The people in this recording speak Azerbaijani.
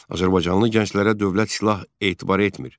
Azərbaycanlı gənclərə dövlət silah etibar etmir.